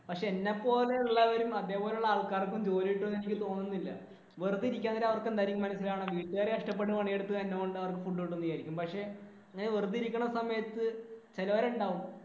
പക്ഷേ എന്നെപ്പോലെയുള്ള ആൾക്കാരും അതുപോലെയുള്ള ആൾക്കാർക്കും ജോലി കിട്ടുമെന്ന് എനിക്ക് തോന്നുന്നില്ല. വെറുതെ ഇരിക്കുകയാണെങ്കിലും അവർക്ക് എന്തായിരിക്കും മനസ്സിൽ വീട്ടുകാര് കഷ്ടപ്പെടുകയാണ് എടുത്ത് അവര്‍ക്ക് food കൊണ്ട് പോവാം എന്ന് വിചാരിക്കും. പക്ഷേ